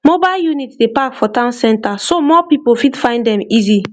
mobile unit dey park for town center so more people fit find dem easy